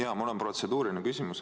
Jaa, mul on protseduuriline küsimus.